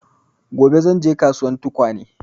Gobe zan je kasuwan tukwane